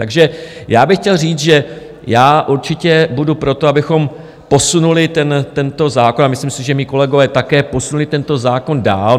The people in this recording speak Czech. Takže já bych chtěl říct, že já určitě budu pro to, abychom posunuli tento zákon, a myslím si, že moji kolegové také posunuli tento zákon dál.